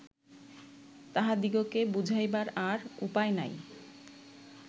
তাঁহাদিগকে বুঝাইবার আর উপায় নাই